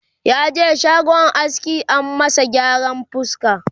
yaje shagon aski an masa gyaran fuska